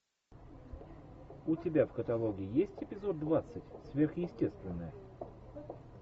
у тебя в каталоге есть эпизод двадцать сверхъестественное